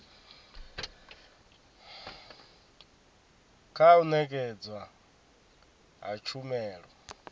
kha u nekedzwa ha tshumelo